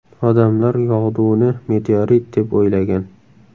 Odamlar yog‘duni meteorit deb o‘ylagan.